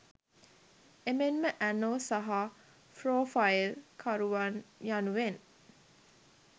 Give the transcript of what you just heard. එමෙන්ම ඇනෝ සහ ෆ්රොෆයිල් කරුවන් යනුවෙන්